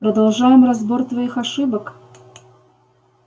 продолжаем разбор твоих ошибок